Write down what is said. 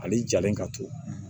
Ale jalen ka to